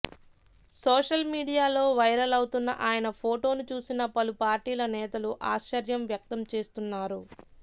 social మీడియాలో viral అవుతున్న ఆయన ఫొటోను చూసిన పలు పార్టీల నేతలు ఆశ్చర్యం వ్యక్తం చేస్తున్నారు